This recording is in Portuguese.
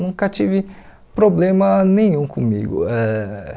Nunca tive problema nenhum comigo ãh.